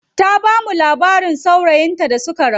Ta bamu labarin saurayin ta da suka rabu.